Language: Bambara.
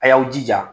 A y'aw jija